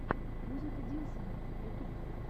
музыка диллсона ютьюб